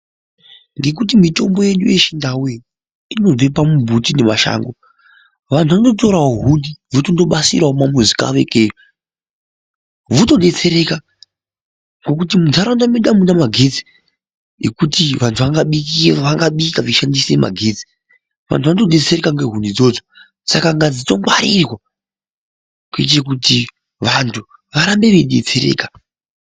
Ngekuti mitombo yedu yechindau iyi inobve pamumbuti nemashango vantu vanotorawo huni votondobasirawo mumuzi kwavo ikweyo votobetsereka ngekut mundaraunda medu amuna magetsi ekuti vantu vangabika veishandise magetsi, vantu vanotobetsereka ngehuni idzodzo saka ngadzitongwarirwa kuite kuti vantu varambe veibetsereka.